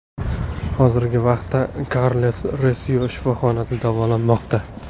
Hozirgi vaqtda Karles Resio shifoxonada davolanmoqda.